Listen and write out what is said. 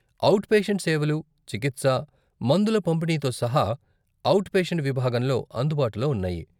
Out patient సేవలు, చికిత్స, మందుల పంపిణీతో సహా, ఔట్ పేషెంట్ విభాగంలో అందుబాటులో ఉన్నాయి.